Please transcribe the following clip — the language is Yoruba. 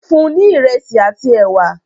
fún ní iresi àti ẹwà!